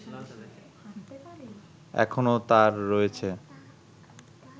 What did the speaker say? এখনো তার রয়েছে